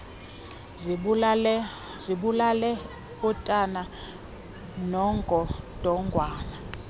zibulale utana nongodongwana